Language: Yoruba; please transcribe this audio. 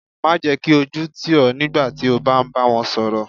Má jẹ́ kí ojú tì ọ nígbà tí o bá ń bá wọn sọ̀rọ̀.